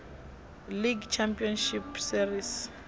league championship series